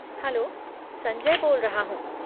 Hello, Sanjay बोल रहा हूँ।